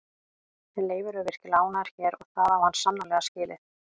En Leifur er virkilega ánægður hér og það á hann sannarlega skilið.